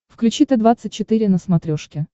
включи т двадцать четыре на смотрешке